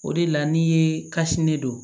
O de la n'i ye kasi ne don